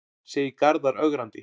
segir Garðar ögrandi.